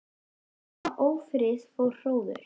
Eftir tveggja mánaða ófrið fór hróður